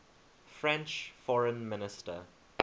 french foreign minister